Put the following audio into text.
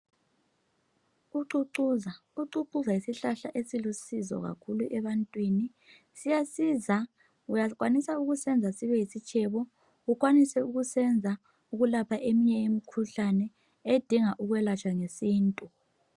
Ucucuza, ucucuza yisihlahla esilusizo kakhulu ebantwini siyasiza uyakwanisa ukusenza sibe yisitshebo uyakwanisa ukusenza ukulapha eminye imikhuhlane edinga ukwelatshwa ngesintu